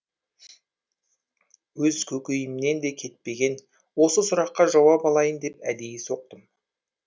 өз көкейімнен де кетпеген осы сұраққа жауап алайын деп әдейі соқтым